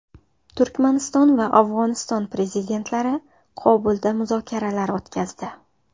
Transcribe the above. Turkmaniston va Afg‘oniston prezidentlari Qobulda muzokaralar o‘tkazdi.